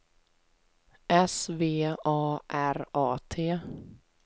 S V A R A T